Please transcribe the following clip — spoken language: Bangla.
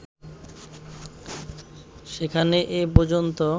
সেখানে এ পর্যন্ত